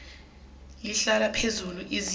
lihlale liphezulu izinga